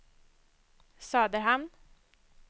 Söderhamn